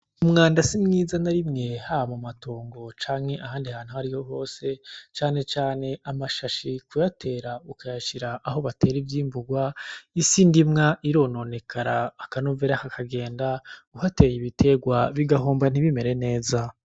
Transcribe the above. Umwanda si mwiza na rimwe haba mu matongo canke ahandi hantu hose canecane amashashi kuyatera ukayashira aho batera ivyimburwa isi ndimwa irononekara akanovera kakagenda uhateye ibiterwa bigahomba nti bimere neza .